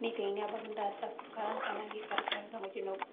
Neitai nia nkop ndaa sapuk alang' tana keikarkari to ng'ojii noboo.